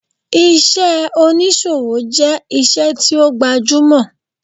Iṣẹ́ oníṣòwò jẹ́ iṣẹ́ tí ó gbajúmọ̀